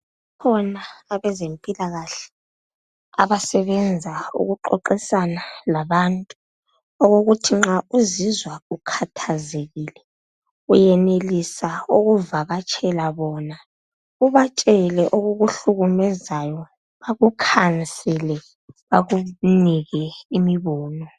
Kukhona abezempilakahle abasebenza ukuxoxisana labantu. Okokuthi nxa uzizwa ukhathazekile uyenelisa ukuvakatshela bona ubatshele okukuhlukumezayo, bakukhansele bakunike imibono.